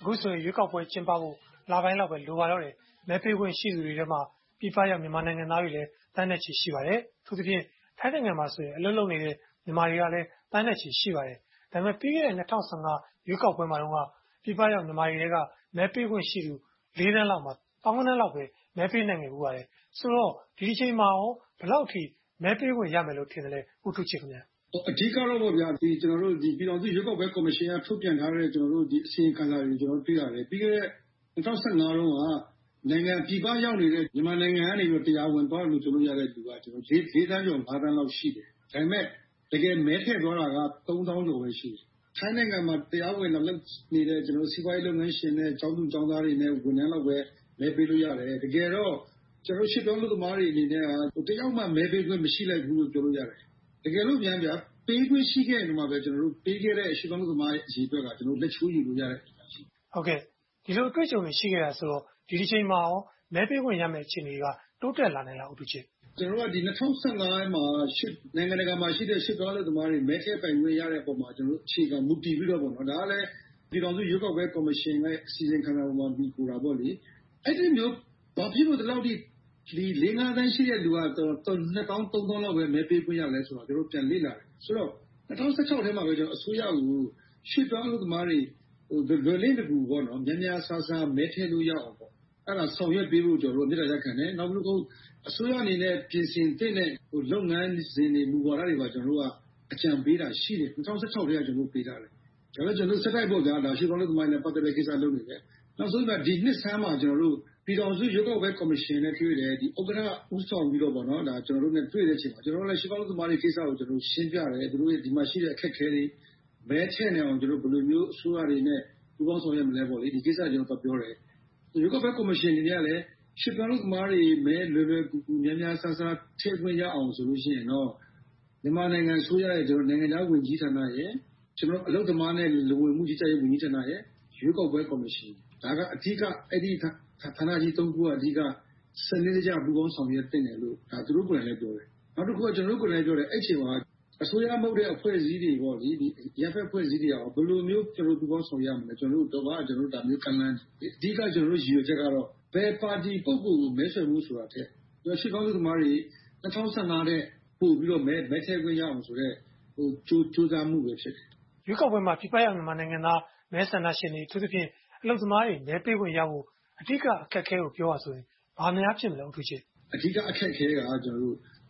အခုဆိုရင် ရွေးကောက်ပွဲကျင်းပဖို့ လပိုင်းလောက်ပဲ လိုပါတော့တယ်။ မဲပေးခွင့်ရှိသူတွေထဲမှာ ပြည်ပရောက် မြန်မာနိုင်ငံသားတွေလည်း သန်းနဲ့ချီ ရှိပါတယ်။ အထူးသဖြင့် ထိုင်းနိုင်ငံမှာဆိုရင် အလုပ်လုပ်နေတဲ့ မြန်မာတွေကလည်း သန်းနဲ့ချီ ရှိနေပါတယ်။ ဒါပေမဲ့ ပြီးခဲ့တဲ့ ရွေးကောက်ပွဲမှာတုန်းက ပြည်ပရောက် မြန်မာတွေထဲက မဲပေးခွင့်ရှိသူ သန်းလောက်မှာ သောင်းကဏန်းလောက်ပဲ မဲပေးနိုင်ခဲ့ပါတယ်။ ဆိုတော့ ဒီအချိန်မှာကော ဘယ်လောက်ထိ မဲပေးခွင့်ရမယ်လို့ ထင်ပါသလဲ။ မင်္ဂလာပါ။ အဓိကတော့ ပြည်ထောင်စုရွေးကောက်ပွဲ ကော်မရှင်က ထုတ်ပြန်ထားတဲ့ အစီရင်ခံစာတွေကို တွေ့ရတယ်။ ပြီးခဲ့တဲ့ ၂၀၁၅ တုန်းက ပြည်ပရောက်နေတဲ့ မြန်မာနိုင်ငံကနေ တရားဝင်အလုပ်လုပ်နေသူက သန်းကျော် သန်းလောက် ရှိတယ်။ ဒါပေမဲ့ တကယ် မဲထည့်သွားတာက သောင်းကျော်ပဲ ရှိတယ်။ ထိုင်းနိုင်ငံမှာ တရားဝင် လာလုပ်နေတဲ့ စီးပွားရေးလုပ်ငန်းရှင်နဲ့ ကျောင်းသူကျောင်းသားတွေနဲ့ ဝန်ထမ်းတွေပဲ မဲပေးလို့ရတယ်။ တကယ်တော့ ရွှေ့ပြောင်းအလုပ်သမားတွေအနေနဲ့ တစ်ယောက်မှ မဲပေးခွင့် မရှိလိုက်ဘူးလို့ ပြောလို့ရတယ်။ တကယ်လိုများ ပေးခွင့်ရှိခဲ့တယ်ဆိုရင်တောင် ပေးခဲ့တဲ့ ရွှေ့ပြောင်းအလုပ်သမား အရေအတွက်က လက်ချိုးရေးလို့ရတယ်။ ဒီလို အတွေ့အကြုံတွေ ရှိခဲ့တယ်ဆိုတော့ ဒီတကြိမ်မှာကော မဲပေးခွင့်ရမယ့် အခြေအနေက တိုးတက်လာနိုင်လား။ ၂၀၁၅ မှာ နိုင်ငံတကာမှာရှိတဲ့ ရွှေ့ပြောင်းအလုပ်သမားတွေ မဲထည့်ပိုင်ခွင့်ရတဲ့အပေါ်မှာ ကျနော်တို့ အခြေခံမူတည်ပြီးတော့ ဒါကလဲ ပြည်ထောင်စုရွေးကောက်ပွဲကော်မရှင်ရဲ့ အစီရင်ခံစာပေါ် မှီခိုတာပေါ့။ ဘာဖြစ်လို့ ဒီလောက်အထိ လေးငါးသန်းရှိတဲ့ လူက နှစ်သောင်းသုံးသောင်းလောက်ပဲ မဲပေးခွင့်ရလဲဆိုတာကို ကျနော်တို့ ပြန်လေ့လာတယ်။ ဆိုတော့ ၂၀၁၆ ထဲမှာပဲ အစိုးရကို ရွှေ့ပြောင်းအလုပ်သမားတွေ လွယ်လင့်တကူ မြန်မြန်ဆန်ဆန် မဲထည့်လို့ရအောင် အဲဒါကို ဆောင်ရွက်ပေးဖို့ ကျနော်တို့ မေတ္တာရပ်ခံခဲ့တယ်။ နောက်ဆုံး အစိုးရအနေနဲ့ ပြင်ဆင်သင့်တဲ့ လုပ်ငန်းစဉ်တွေ၊ မူဝါဒတွေကို ကျနော်တို့ အကြံပေးတာရှိတယ်။ ၂၀၁၆ ထဲက ကျနော်တို့ ပေးထားတယ်။ ဒါပေမဲ့ ဆက်တိုက်ပေါ့ ရွှေ့ပြောင်းအလုပ်သမားတွေနဲ့ ပတ်သက်တာတွေကို လုပ်နေခဲ့တယ်။ နောက်ဆုံး ဒီနှစ်ဆန်မှာ ကျနော်တို့ ပြည်ထောင်စုရွေးကောက်ပွဲကော်မရှင်နဲ့တွေ့တယ်။ ဥက္ကဋ္ဌ ဦးဆောင်ပြီးတော့ ကျနော်တို့နဲ့ တွေ့တဲ့အချိန်မှာ ကျနော်တို့လည်း ရွှေ့ပြောင်းအလုပ်သမားတွေကိစ္စကို ရှင်းပြတယ်။ ဒီမှာရှိတဲ့ အခက်အခဲတွေ မဲထည့်နိုင်အောင် ဘယ်လိုမျိုး အစိုးရတွေနဲ့ ပူးပေါင်းဆောင်ရွက်မလဲဆိုတဲ့ ကိစ္စတွေကို ပြောပြတယ်။ ရွေးကောက်ပွဲကော်မရှင်ကလည်း ရွှေ့ပြောင်းအလုပ်သမားတွေ မဲလွယ်လွယ်ကူကူ၊ မြန်မြန်ဆန်ဆန် ထည့်ခွင့်ရအောင်ဆိုရင်တော့ မြန်မာနိုင်ငံအစိုးရရဲ့ နိုင်ငံခြားရေးဝန်ကြီးဌာန၊ အလုပ်သမားနဲ့ လူဝင်မှုကြီးကြပ်ရေးဌာန၊ ရွေးကောက်ပွဲကော်မရှင်တို့ အဓိက အဲဒီဌာနကြီး ခုက စနစ်တကျ ပူးပေါင်းဆောင်ရွက်သင့်တယ်လို့ သူတို့ကိုယ်တိုင်လည်း ပြောခဲ့တယ်။ နောက်တခုက ကျနော်တို့ကိုယ်တိုင်လည်းပြောတယ်။ အဲဒီအချိန်မှာ အစိုးရမဟုတ်တဲ့ အဖွဲ့အစည်းတွေ၊ အရပ်ဘက်အဖွဲ့အစည်းတွေက ဘယ်လိုမျိုး ပူးပေါင်းဆောင်ရွက်ရမလဲဆိုတာကို ကျနော်တို့ကို ပြောပြဖို့ ကမ်းလှမ်းခဲ့တယ်။ အဓိက ကျနော်တို့ ရည်ရွယ်ချက်ကတော့ ဘယ်ပါတီ ပုဂ္ဂိုလ်ကို မဲဆွယ်ဖို့ဆိုတာထက် ရွှေ့ပြောင်းအလုပ်သမားတွေ ၂၀၁၅ ထက်ပိုပြီးတော့ မဲထည့်ခွင့်ရအောင်ဆိုတဲ့ ကြိုးစားမှုဖြစ်တယ်။ ရွေးကောက်ပွဲမှာ ပြည်ပရောက်မြန်မာနိုင်ငံသား မဲဆန္ဒရှင်တွေ၊ အထူးသဖြင့် အလုပ်သမားတွေ မဲပေးခွင့်ရဖို့ အဓိက အခက်အခဲကို ပြောပါဆိုရင် ဘာများဖြစ်မလဲ။ အဓိကအခက်အခဲက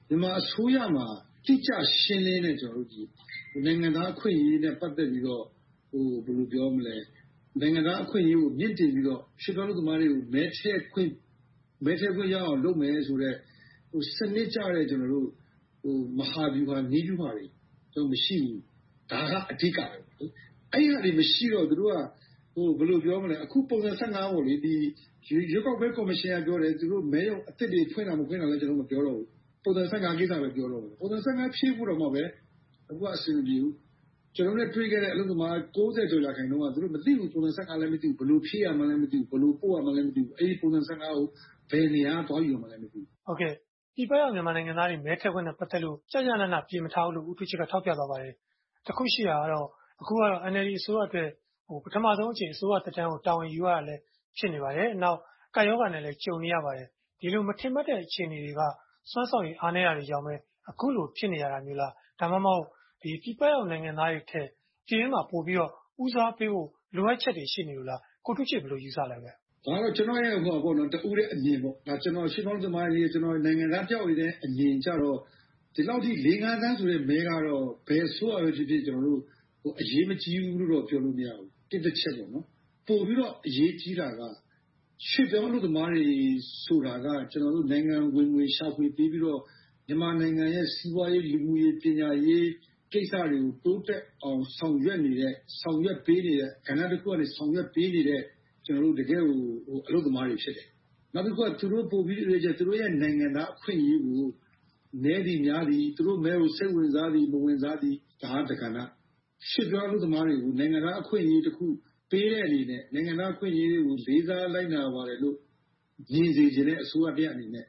မြန်မာအစိုးရမှာ တိကျရှင်းလင်းတဲ့ နိုင်ငံသားအခွင့်အရေးနဲ့ ပတ်သက်ပြီးတော့၊ နိုင်ငံသားအခွင့်အရေးကို မြှင့်တင်ပြီးတော့ ရွှေ့ပြောင်းအလုပ်သမားတွေကို မဲထည့်ခွင့်ရအောင် လုပ်ပေးမယ်ဆိုတဲ့ စနစ်ကျတဲ့ မဟာဗျူဟာ၊ နည်းဗျူဟာတွေ မရှိဘူး။ ဒါက အဓိကပဲ။ အဲဒါတွေ မရှိတော့ သူတို့က ပုံစံ ရွေးကောက်ပွဲကော်မရှင်က ပြောတယ်။ သူတို့ မဲရုံအသစ်တွေ ဖွင့်တာမဖွင့်တာလဲ ကျနော်တို့ မပြောတော့ဘူး။ ပုံစံ ကိစ္စပဲ ပြောတော့မယ်။ ပုံစံ ဖြည့်ဖို့ကိုပဲ အဆင်မပြေဘူး။ ကျနော်တို့နဲ့ တွေ့ခဲ့တဲ့ အလုပ်သမား ရာခိုင်နှုန်းက သူတို့မသိဘူး။ ပုံစံ လည်း မသိဘူး။ ဘယ်လိုဖြည့်ရမှန်းလဲ မသိဘူး။ ဘယ်ကိုပို့ရမှန်းလဲ မသိဘူး။ အဲဒီ ပုံစံ ကို ဘယ်နေရာကနေ သွားယူရမှန်းလဲ မသိဘူး။ ပြည်ပရောက် မြန်မာနိုင်ငံသားတွေ မဲထည့်ခွင့်နဲ့ ပတ်သက်လို့ ကျကျနန မပြင်ထားဘူးလို့ ဦးထူးချစ်က ထောက်ပြသွားပါတယ်။ တခုရှိတာကတော့ အခုက NLD အစိုးရအတွက် ပထမဦးဆုံးအကြိမ် အစိုးရသက်တမ်းကို တာဝန်ယူရတာလဲ ဖြစ်နေပါတယ်။ နောက် ကပ်ရောဂါနဲ့လဲ ကြုံနေရပါတယ်။ ဒီလို မထင်မှတ်ရတဲ့ အခြေအနေတွေက စွမ်းဆောင်ရေးအားနည်းတာတွေကြောင့် အခုလိုဖြစ်နေရတာလား။ ဒါမှမဟုတ် ပြည်ပရောက် နိုင်ငံသားတွေထက် ပြည်တွင်းမှာ ပိုပြီးတော့ ဦးစားပေးဖို့ လိုအပ်ချက်တွေ ရှိနေလို့လား။ ကိုထူးချစ် ဘယ်လိုယူဆပါလဲ။ ဒါကတော့ ကျနော့်ရဲ့ တဦးတည်းအမြင်ပေါ့ - ကျနော် ရွှေ့ပြောင်းအလုပ်သမား နိုင်ငံသားတယောက်အနေနဲ့ အမြင်ကတော့ ဒီလောက်ထိ လေးငါးသန်းဆိုတဲ့ မဲကတော့ ဘယ်အစိုးရပဲဖြစ်ဖြစ် အရေးမကြီးဘူးလိုတော့ ပြောလို့မရဘူး။ ဒါက တစ်တချက်ပေါ့။ ပိုပြီးတော့ အရေးကြီးတာက ရွှေ့ပြောင်းအလုပ်သမားတွေဆိုတာက နိုင်ငံဝင်ငွေ၊ ရှာဖွေပေးပြီးတော့ မြန်မာနိုင်ငံရဲ့ စီးပွားရေး၊ လူမှုရေး၊ ပညာရေးကိစ္စတွေကို တိုးတက်အောင်ဆောင်ရွက်နေတဲ့ ဆောင်ရွက်ပေးနေတဲ့ ကဏ္ဍတစ်ခုကနေ ဆောင်ရွက်ပေးနေတဲ့ တကယ့်အလုပ်သမားတွေ ဖြစ်တယ်။ နောက်တခုက သူတို့ပိုပြီးတော့ သူတို့နိုင်ငံသားအခွင့်အရေးကို နည်းသည်များသည်၊ သူတို့မဲကို စိတ်ဝင်စားသည်၊ စိတ်မဝင်စားသည်က တကဏ္ဍ။ ရွှေ့ပြောင်းအလုပ်သမားတွေကို နိုင်ငံသားအခွင့်အရေးတခု ပေးတဲ့အနေနဲ့ နိုင်ငံသားအခွင့်အရေးတွေကို လေးစားလိုက်နာပါတယ်လို့ မြင်စေချင်တဲ့ အစိုးရတရပ်အနေနဲ့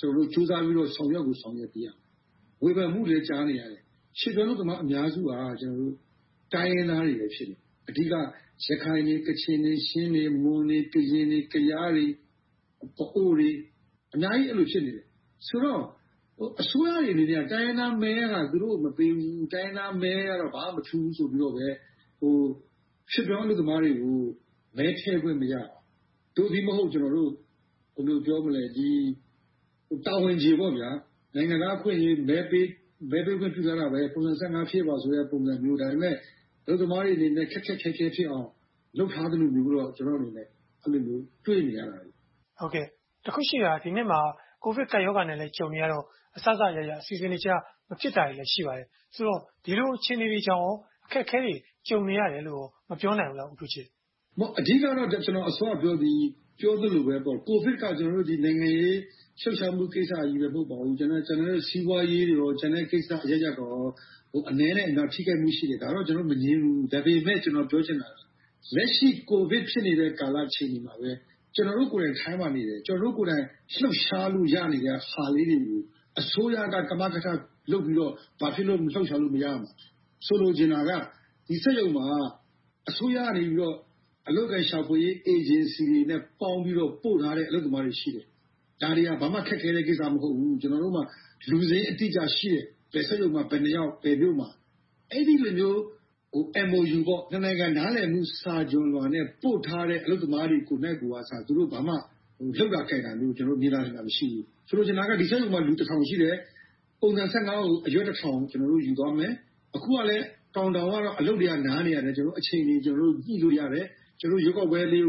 ဆိုပြီးတော့ ကြိုးစားပြီးတော့ ဆောင်ရွက်ကို ဆောင်ရွက်ပေးရမယ်။ ဝေဖန်မှုတွေလည်း ကြားနေရတယ်။ ရွှေ့ပြောင်းအလုပ်သမား အများစုက တိုင်းရင်းသားတွေပဲ ဖြစ်နေတယ်။ အဓိက ရခိုင်၊ ကချင်၊ ချင်း၊ မွန်၊ ကရင်၊ ကယားတွေ၊ ပအို့ဝ်တွေ အများကြီး ဖြစ်နေတယ်။ ဆိုတော့ အစိုးရတွေအနေနဲ့ တိုင်းရင်းသားမဲက သူတို့ကို မပေးဘူး။ တိုင်းရင်းသားမဲကတော့ ဘာမှမထူးဘူးဆိုပြီးတော့ ရွှေ့ပြောင်းအလုပ်သမားတွေကို မဲထည့်ခွင့်မရအောင် တာဝန်ကျေ နိုင်ငံသားအခွင့်အရေး မဲပေးခွင့်ပေးထားတာပဲ။ ပုံစံ ဖြည့်ပါဆိုတဲ့ ပုံစံမျိုး။ ဒါပေမဲ့ အလုပ်သမားတွေအနေနဲ့ ခက်ခက်ခဲခဲဖြစ်အောင် လုပ်ထားသလိုမျိုးတော့ ကျနော့်အနေနဲ့ တွေ့နေပါတယ်။ တခုရှိတာက ဒီနှစ်မှာ ကိုဗစ်ကပ်ရောဂါနဲ့လဲ ကြုံနေရတော့ အစစအရာရာ အစီအစဉ်မကျ ဖြစ်နေတာတွေလဲ ရှိပါတယ်။ ဆိုတော့ ဒီလိုအခြေအနေတွေကြောင့် အခက်အခဲတွေ ကြုံနေရတယ်လို့ မပြောနိုင်ဘူးလား။ အဓိကတော့ ကျနော် အစောကပြောသလိုပဲ ကိုဗစ်က နိုင်ငံရေးလှုပ်ရှားမှု ကိစ္စတွေပဲ မဟုတ်ပါဘူး။ ကျန်တဲ့ စီးပွားရေး၊ ကျန်တဲ့ကိစ္စအရပ်ရပ် အနည်းနဲ့အများ ထိခိုက်မှုတွေ ရှိတယ်။ ဒါကို ကျနော်တို့ မငြင်းဘူး။ ဒါပေမဲ့ ကျနော်ပြောချင်တာက လက်ရှိ ကိုဗစ်ဖြစ်နေတဲ့ ကာလအခြေအနေမှာပဲ ကျနော်တို့ကိုယ်တိုင် ထိုင်းမှာနေတယ်။ ကျနော်တို့ကိုယ်တိုင် လှုပ်ရှားလို့ ရနိုင်တဲ့ဟာလေးတွေကို အစိုးရက ကမကထလုပ်ပြီးတော့ ဘာဖြစ်လို့ လှုပ်ရှားလို့ မရရမှာလဲ။ ဆိုလိုချင်တာက ဒီစက်ရုံမှာ အစိုးရကနေ အလုပ်အကိုင်ရှာဖွေရေး အေဂျင်စီတွေနဲ့ ပေါင်းပြီးတော့ ပို့ထားတဲ့ အလုပ်သမားတွေရှိတယ်။ ဒါတွေက ဘာမှခက်ခဲတဲ့ကိစ္စ မဟုတ်ဘူး။ ကျနော်တို့မှာ လူစာရင်းအတိအကျ ရှိတယ်။ ဘယ်စက်ရုံမှာ ဘယ်နှစ်ယောက် ဘယ်မြို့မှာ။ အဲဒီလိုမျိုး MOU နှစ်နိုင်ငံ နားလည်မှုစာချွန်လွှာနဲ့ ပို့ထားတဲ့ အလုပ်သမားတွေကိုယ်နှိုက်ကို သူတို့ဘာမှ လုပ်တာကိုင်တာမျိုး ကျနော်တို့ မြင်သာထင်သာ မတွေ့ရဘူး။ ဆိုချင်တာက ဒီစက်ရုံမှာ လူတထောင်ရှိတယ်။ ပုံစံ ကို အရွက် တစ်ထောင် ကျနော်တို့ ယူသွားမယ်။ အခုကတော့ အလုပ်တွေက များနေတော့ တော်ရုံတန်ရုံ အချိန်တွေ ညှိလို့ရတယ်။ ရွေးကောက်ပွဲကို ဘယ်လို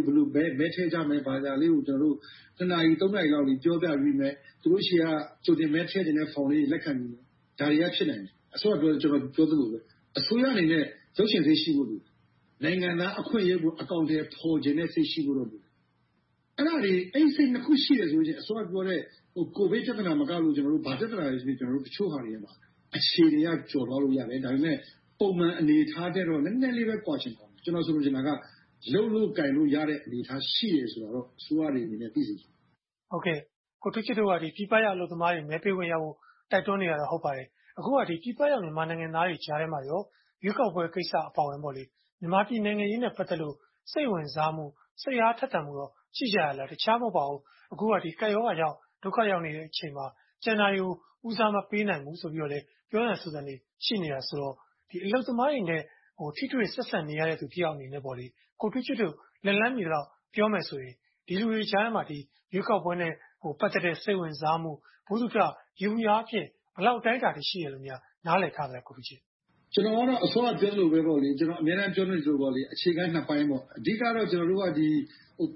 မဲထည့်ကြမယ် ဘာသာရပ်လေးကို ကျနော်တို့ နာရီ နာရီလောက် ပြောပြပေးမယ်။ သူတို့ဆီက ကြိုတင်မဲ ထည့်ချင်တဲ့ဖောင်လေးတွေ လက်ခံယူမယ်။ ဒါတွေက ဖြစ်နိုင်တယ်။ အစောကပြောသလိုပဲ အစိုးရအနေနဲ့ လုပ်ချင်စိတ်ရှိဖို့ လိုတယ်။ နိုင်ငံသားအခွင့်အရေးကို အကောင်အထည်ဖော်ချင်တဲ့စိတ် ရှိဖို့တော့ လိုတယ်။ အဲဒါတွေ အဲဒီစိတ်နှစ်ခုရှိတယ်ဆိုရင် စောစောကပြောတဲ့ ကိုဗစ်ပြဿနာမကလို့ ဘာပြဿနာပဲဖြစ်ဖြစ် အခြေအနေတွေက ကျော်လွှားလို့ရတယ်။ ဒါပေမဲ့ ပုံမှန်အနေအထားထက်တော့ နည်းနည်းလေးပဲ ကွာချင်ကွာမယ်။ ကျနော် ဆိုလိုချင်တာက လုပ်လို့ကိုင်လို့ရတဲ့ အနေအထား ရှိတယ်ဆိုတာတော့ အစိုးရအနေနဲ့ သိစေချင်တယ်။ ကိုထူးချစ်တို့က ပြည်ပရောက် အလုပ်သမားတွေ မဲပေးခွင့်ရဖို့တော့ တိုက်တွန်းနေတာတော့ ဟုတ်ပါပြီ။ အခုက ပြည်ပရောက် မြန်မာနိုင်ငံသားတွေကြားထဲမှာ ရွေးကောက်ပွဲကိစ္စ အပါအဝင် မြန်မာနိုင်ငံ နိုင်ငံရေးနဲ့ ပတ်သက်လို့ စိတ်ဝင်စားမှု၊ စိတ်အားထက်သန်မှု ရှိကြလား။ တခြားမဟုတ်ပါဘူး အခုက ကပ်ရောဂါကြောင့် ဒုက္ခရောက်နေတဲ့အချိန်မှာ ကျန်တာတွေကို ဦးစားမပေးနိုင်ဘူးဆိုတဲ့ ပြောသံဆိုသံတွေ ရှိနေတယ်ဆိုတော့ အလုပ်သမားတွေနဲ့ ထိတွေ့ဆက်ဆံနေရတဲ့ လူတယောက်အနေနဲ့ ကိုထူးချစ်တို့ လက်လှမ်းမီသလောက် ပြောမယ်ဆိုရင် ဒီလူတွေကြားထဲမှာ ရွေးကောက်ပွဲနဲ့ ပတ်သက်တဲ့ စိတ်ဝင်စားမှု ဗဟုသုတ ယေဘုယျအားဖြင့် ဘယ်လောက်အတိုင်းအတာထိ ရှိတယ်လို့များ နားလည်ထားသလဲ။ ကျနော်ကတော့ အစောကပြောသလို၊ အမြဲတမ်း ပြောသလိုပါပဲ အခြေခံအားဖြင့် နှစ်ပိုင်းပေါ့။ အဓိကတော့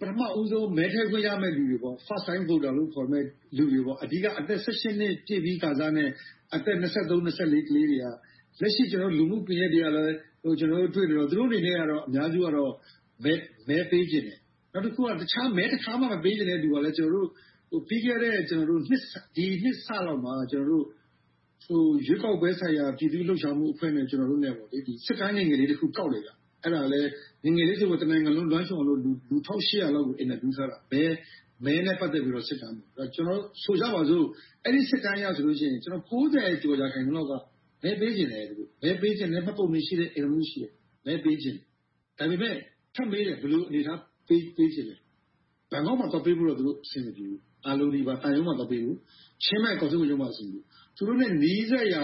ပထမဦးဆုံး မဲထည့်ခွင့်ရမယ်လူတွေ First time voters လို့ခေါ်တဲ့လူတွေ။ အဓိက အသက် နှစ်ပြည့်ပြီးခါစနဲ့ အသက် လူငယ်တွေက လက်ရှိ လူမှု့ကွန်ရက်တွေမှာ တွေ့နေတော့ သူတို့အနေနဲ့ အများစုကတော့ မဲပေးချင်တယ်။ နောက်တခုက တခါမှ မဲမပေးချင်တဲ့လူကလဲ ကျနော်တို့ ပြီးခဲ့တဲ့နှစ်စလောက်မှာ ရွေးကောက်ပွဲဆိုင်ရာ ပြည်သူ့လွှတ်တော်လှုပ်ရှားမှုအဖွဲ့နဲ့ ကျနော်တို့ စစ်တမ်းငယ်လေးတခု ကောက်ခဲ့တယ်။ အဲဒါကလဲ ငယ်ငယ်လေးဆိုပေမယ့် တနိုင်ငံလုံး လွှမ်းခြုံအောင်လို့ လူ လောက်ကို အင်တာဗျူးထားတာ။ မဲနဲ့ပတ်သက်ပြီး စစ်တမ်း။ ဆိုကြပါစို့ အဲဒီစစ်တမ်းအရဆိုရင် ကျော် ရာခိုင်နှုန်းလောက်က မဲပေးချင်တယ်။ မဲပေးဖို့ မှတ်ပုံတင်ရှိတယ်။ အိမ်ထောင်စု ရှိတယ်။ ဒါပေမဲ့ ထပ်မေးတယ် ဘယ်လို အနေအထားနဲ့ ပေးချင်လဲ။ ဘန်ကောက်မှာ သွားပေးဖို့တော့ သူတို့ အဆင်မပြေဘူး။ အားလုံးသံရုံးမှာ သွားပေးဖို့၊ ချင်းမိုင်ကောင်စစ်ဝန်ရုံးမှာ အဆင်ပြေတယ်။ သူတို့နဲ့ နီးစပ်ရာ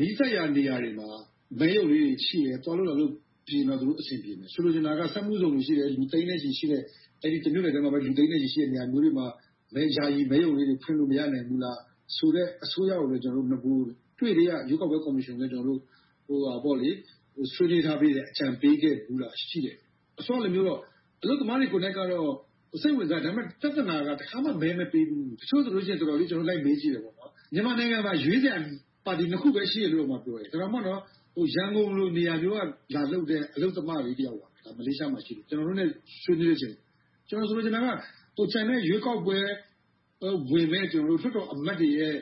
နေရာတွေမှာ မဲရုံလေးတွေ ရှိတယ်။ သွားလို့လာလို့ ပြေရင်တော့ သူတို့အဆင်ပြေမယ်။ သွားလို့လာလို့ အဆင်ပြေမှ သူတို့ အဆင်ပြေမယ်။ ဆိုလိုချင်တာက စက်မှုဇုန် ရှိတယ်။ လူ သိန်းနဲ့ချီ ရှိတဲ့ - တမြို့နယ်ထဲမှာ လူ သိန်းနဲ့ချီ ရှိတဲ့ နေရာမျိုးတွေမှာ ယာယီမဲရုံလေးတွေ ဖွင့်လို မရနိုင်ဘူးလားဆိုတဲ့ အစိုးရကိုယ်လဲ နဂိုတွေ့ကတည်းက ရွေးကောက်ပွဲကော်မရှင်ကိုလဲ ကျနော်တို့ ဆွေးနွေးထားပေးတယ်။ အကြံပေးထားတယ်။ အစောကဟာတုန်းမျိုး အလုပ်သမားတွေကတော့ စိတ်ဝင်စားတယ်။ ဒါပေမဲ့ ပြဿနာက တစ်ခါမှ မဲမပေးပေဘူး တချို့ဆိုရင် တော်တော်လေး လိုက်မေးကြည့်တယ်။ မြန်မာနိုင်ငံမှာ ရွေးစရာပါတီ နှစ်ခုပဲ ရှိတယ်လို့တောင် ပြောတယ်။ ဒါတောင်မှ ရန်ကုန်လို နေရာမျိုးကနေ လာလုပ်တဲ့ အလုပ်သမလေးတယောက်က ပြောတာ။ မလေးရှားမှာ ရှိတယ်။ ကျနော်တို့နဲ့ ဆွေးနွေးတဲ့အချိန်မှာ ကျနော်ဆိုလိုချင်တာက ကျန်တဲ့ရွေးကောက်ပွဲ ဝင်မယ့်သူတို့၊ လွှတ်တော်အမတ်တွေရဲ့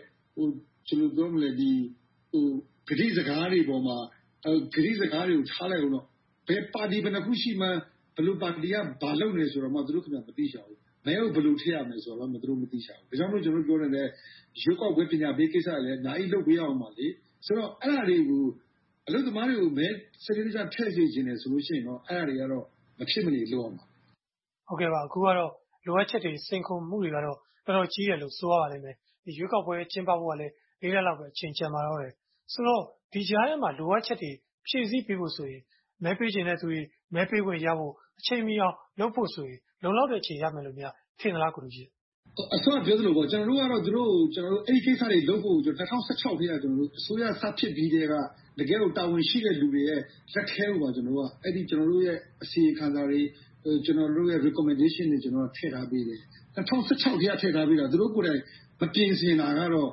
ကတိစကားတွေအပေါ်မှာ - ကတိစကားတွေကို ထားလိုက်အုံးတေ့ - ဘယ်ပါတီ ဘယ်နှစ်ခုရှိမှန်း ဘယ်လိုပါတီက ဘာလုပ်နေသလဲဆိုတာကို သူတို့ခင်များ မသိရှာဘူး။ မဲကို ဘယ်လိုထည့်ရမလဲဆိုတာကို သူတို့မသိရှာဘူး။ ဒါကြောင့်မို့ သူတို့ပြောနေတဲ့ ရွေးကောက်ပွဲပညာပေး ကိစ္စတွေလည်း အများကြီးလုပ်ပေးရအုံးမယ်။ ဆိုတော့ အဲဒါတွေကို အလုပ်သမားတွေကို စနစ်တကျ မဲထည့်စေချင်တယ် ဆိုရင်တော့ အဲဒါတွေကတော့ မဖြစ်မနေ လုပ်ရမှာ။ အခုကတော့ လိုအပ်ချက်တွေ၊ စိန်ခေါ်မှုတွေကတော့ တော်တော်ကြီးတယ်လို့ ဆိုရပါလိမ့်မယ်။ ရွေးကောက်ပွဲ ကျင်းပဖို့ကလဲ လေးလလောက်ပဲ အချိန် ကျန်ပါတော့တယ်။ ဆိုတော့ ဒီကြားထဲမှာ လိုအပ်ချက်တွေ ဖြည့်ဆည်းပေးဖို့ဆိုရင် မဲပေးချင်တဲ့လူတွေ၊ မဲပေးခွင့်ရဖို့ အချိန်မီအောင် လုပ်ဖို့ဆိုရင် လုံလောက်တဲ့အချိန် ရမယ်လို့ ထင်ပါသလား။ အစောကပြောသလိုပေါ့ ကျနော်တို့ကတော့ သူတို့ကို အဲဒီကိစ္စတွေလုပ်ဖို့ ၂၀၁၆ အစိုးရစဖြစ်ချိန်ကတည်းက တကယ့်ကို တာဝန်ရှိတဲ့လူတွေရဲ့ လက်ထဲကိုပဲ ကျနော်တို့ရဲ့ အစီရင်ခံစာတွေ၊ recommendations တွေကို ထည့်ထားပေးတယ်။ ၂၀၁၆ ကတည်းက ထည့်ထားပေးတာ။ သူတို့ကိုယ်တိုင် မပြင်ဆင်တာကတော့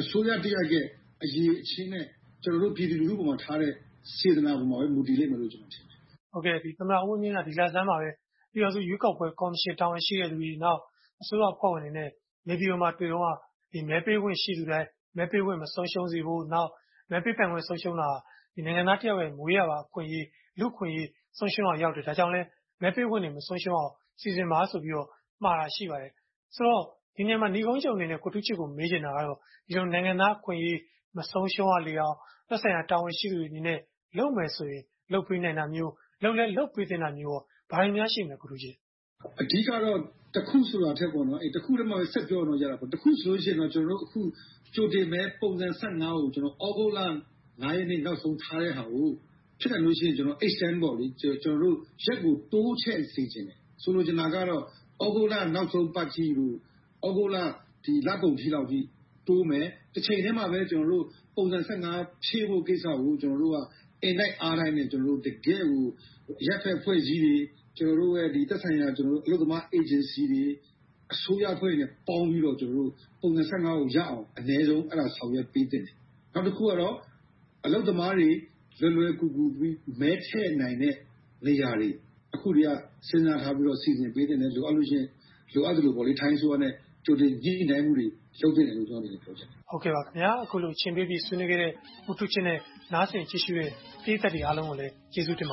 အစိုးရတရပ်ရဲ့ အရည်အချင်းနဲ့ ကျနော်တို့ ပြည်သူလူထုပေါ်မှာထားတဲ့ စေတနာပေါ်မှာပဲ မူတည်လိမ့်မယ်လို့ ကျနော်ထင်ပါတယ်။ သမ္မတဦးဝင်းမြင့်က ဒီလဆန်းမှာပဲ ပြည်ထောင်စုရွေးကောက်ပွဲ ကော်မရှင်မှာ တာဝန်ရှိတဲ့လူတွေ။ နောက် အစိုးရအဖွဲ့ဝင်တွေနဲ့ နေပြည်မှာတွေ့တုန်းက မဲပေးခွင့် ရှိသူတိုင် မဲပေးခွင့် မဆုံးရှုံးစေဖို့။ နောက် မဲပေးနိုင်ခွင့် ဆုံးရှုံးတာ နိုင်ငံသားတယောက်ရဲ့ မွေးရာပါ အခွင့်အရေး၊ လူ့အခွင့်အရေး ဆုံးရှုံးရာရောက်တယ်။ ဒါကြောင့်လဲ မဲပေးခွင့်တွေ မဆုံးရှုံးရအောင် စီစဉ်ပါဆိုပြီးတော့ မှာတာ ရှိပါတယ်။ ဆိုတော့ ဒီနေရာမှာ နိဂုံးချုပ်အနေနဲ့ မေးချင်တာကတော့ နိုင်ငံသားအခွင့်အရေး မဆုံးရှုံးရလေအောင် သက်ဆိုင်ရာ တာဝန်ရှိသူတွေအနေနဲ့ လုပ်မယ်ဆိုရင် လုပ်ပေးနိုင်တာမျိုး။ လုပ်ပေးသင့်တာမျိုးကော ဘာတွေများ ရှိမလဲ။ အဓိကတော့ တစ်ခုဆိုတာထက် တစ်ခုထဲမှာပဲ ဆက်ပြောရင်တော့ ရတာပေါ့။ အခုဆိုရင် ကြိုတင်မဲ ပုံစံ ကို သြဂုတ်လ ရက်နေ့ နောက်ဆုံးထားတဲ့ဟာကို ဖြစ်နိုင်လို့ရှိရင် Extend - ရက်ကို တိုးချဲ့စေချင်တယ်။ ဆိုလိုချင်တာကတော့ သြဂုတ်လနောက်ဆုံးပတ်အထိတို့ သြဂုတ်လ လကုန်လောက်အထိ တိုးမယ်။ တချိန်တည်းမှာပဲ ပုံစံ ဖြည့်ဖို့ကိစ္စကို ကျနော်တို့ကတော့ အင်တိုက်အားတိုက် တကယ့်ကို အရပ်ဘက်အဖွဲ့အစည်းတွေ၊ ကျနော်တို့ရဲ့ သက်ဆိုင်ရာ အလုပ်သမားအေဂျင်စီတွေ အစိုးရအဖွဲ့တွေနဲ့ ပေါင်းပြီးတော့ ကျနော်တို့ ပုံစံ ကိုရအောင် အနည်းဆုံး အဲဒါတွေ ဆောင်ရွက်ပေးသင့်တယ်။ နောက်တခုကတော့ အလုပ်သမားတွေ လွယ်လွယ်ကူကူ မဲထည့်နိုင်တဲ့ နေရာတွေ။ အခုကတည်းက စဉ်းစားထားပြီးတော့ စီစဉ် ထားပေးသင့်တယ်။ လိုအပ်သလို ထိုင်းအစိုးရအနေနဲ့ ကြိုတင်ညှိနှိုင်းမှုတွေ လုပ်သင့်တယ်လို့ ကျနော့်အနေနဲ့ ပြောချင်တယ်။ အခုလို အချိန်ပေးပြီး ဆွေးနွေးပေးခဲ့တဲ့ ဦးထူးချစ်နဲ့ နားဆင်ကြတဲ့ ပရိသတ်တွေအားလုံးကို ကျေးဇူးတင်ပ